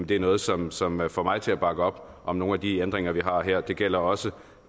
det er noget som som får mig til at bakke op om nogle af de ændringer vi har her det gælder også